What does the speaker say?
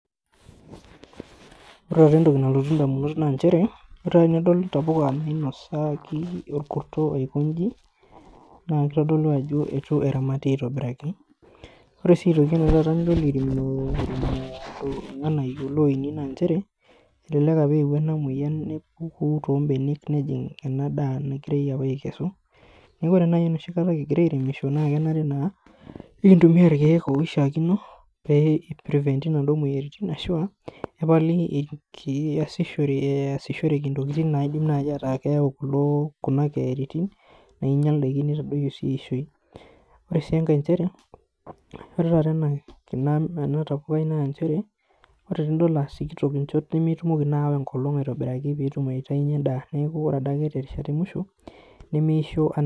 Ore taata entoki nalotu indamunot naa nchere, ore enidol intapuka naainosaki orkurto aiko inji naa kitodolu ajo etu eramati aitobiraki. Ore sii aitoki enidol eirimino looini naa nchere, elelek opwa eewuo ena moyian nepuku toombenek nejing' ena daa nagira opa aikesu. Neeku ore enoshi kata kigira airemisho naa kenare naa nekintumia irkiek oishiakino pee i prevent inadwo moyiaritin ashu epali easishoreki intokiting naidim naaji ataa keyau kuna keyaritin nainyal ndaiki neitadoyio sii eishoi. Ore sii enkae nchere ore taata ena tapukai naa nchere, ore tenidol aa sikitok nchot nemetumiko naa aawa enkolong' aitobiraki peetum aitainyie endaa neeku ore adake temusho nemeisho anaa